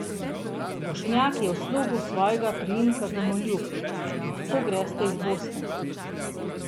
Bošnjak je v slogu svojega priimka domoljub: "Lahko greste iz Bosne.